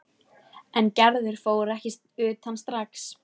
En Gerður fór ekki utan strax.